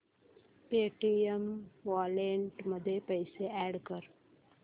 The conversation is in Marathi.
पेटीएम वॉलेट मध्ये पैसे अॅड कर